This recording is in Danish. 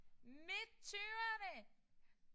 Midt tyverne!